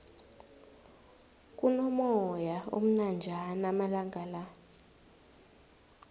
kuno moyana omnanjana amalangala